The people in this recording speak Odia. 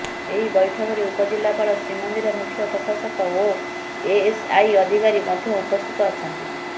ଏହି ବୈଠକରେ ଉପଜିଲ୍ଲାପାଳ ଶ୍ରୀମନ୍ଦିର ମୁଖ୍ୟ ପ୍ରଶାସକ ଓ ଏଏସଆଇ ଅଧିକାରୀ ମଧ୍ୟ ଉପସ୍ଥିତ ଅଛନ୍ତି